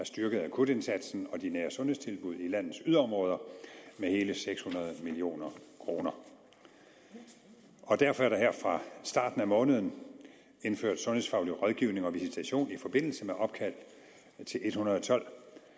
styrket akutindsatsen og de nære sundhedstilbud i landets yderområder med hele seks hundrede million kroner derfor er der her fra starten af måneden indført sundhedsfaglig rådgivning og visitation i forbindelse med opkald til en hundrede og tolv